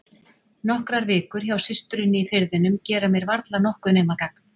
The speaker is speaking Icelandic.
Nokkrar vikur hjá systurinni í Firðinum gera mér varla nokkuð nema gagn.